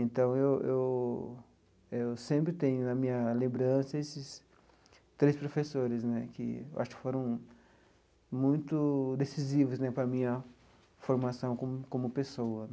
Então, eu eu eu sempre tenho na minha lembrança esses três professores né, que acho que foram muito decisivos né para a minha formação como como pessoa.